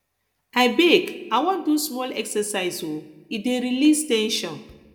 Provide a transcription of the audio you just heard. abeg i wan do small exercise um e dey release ten sion